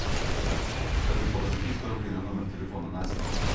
салют положи триста рублей на номер телефона настя